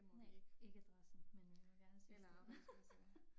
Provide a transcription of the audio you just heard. Nej ikke adressen men øh vi må gerne sige steder mens vi sidder her